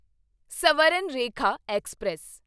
Swarnarekha express